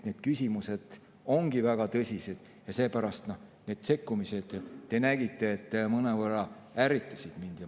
Need küsimused ongi väga tõsised ja seepärast need sekkumised, te nägite, mõnevõrra ärritasid mind.